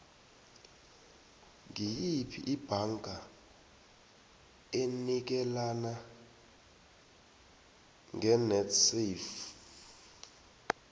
ngiyiphi ibhanga enikelana ngenetsafe